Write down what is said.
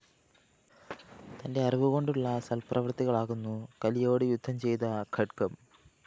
തന്റെ അറിവു കൊണ്ടുള്ള സല്‍പ്രവൃത്തികളാകുന്നു കലിയോടു യുദ്ധം ചെയ്ത ഖഡ്ഗം